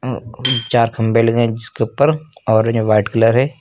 चार खंभे लगे हैं जिसके ऊपर और ये वाइट कलर हैं।